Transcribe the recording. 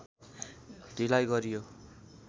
ढिलाइ गरियो